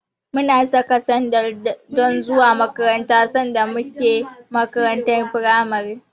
Muna saka sandal don zuwa makaranta sanda muke a makarantar firamare.